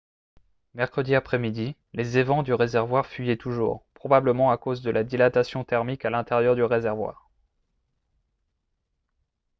mercredi après-midi les évents du réservoir fuyaient toujours probablement à cause de la dilatation thermique à l'intérieur du réservoir